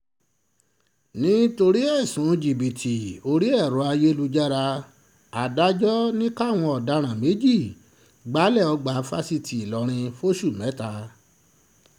nítorí ẹ̀sùn jìbìtì orí ẹ̀rọ ayélujára adájọ́ ni káwọn ọ̀daràn méjì gbalé ọgbà fásitì ìlọrin fóṣù mẹ́ta